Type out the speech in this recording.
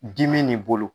Dimi nin bolo